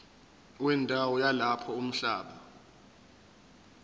wendawo yalapho umhlaba